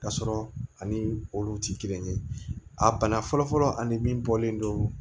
K'a sɔrɔ ani olu tɛ kelen ye a bana fɔlɔfɔlɔ ani min bɔlen don